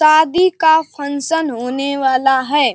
शादी का फंक्शन होने वाला है।